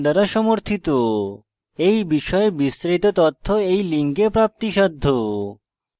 এই বিষয়ে বিস্তারিত তথ্য এই লিঙ্কে প্রাপ্তিসাধ্য